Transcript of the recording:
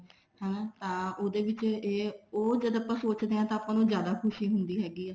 ਹਾਂ ਤਾਂ ਉਹਦੇ ਵਿੱਚ ਇਹ ਉਹ ਜਦ ਆਪਾਂ ਸੋਚਦੇ ਹਾਂ ਤਾਂ ਆਪਾਂ ਨੂੰ ਜਿਆਦਾ ਖੁਸ਼ੀ ਹੁੰਦੀ ਹੈਗੀ ਆ